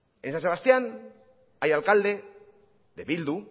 en san sebastián hay alcalde de bildu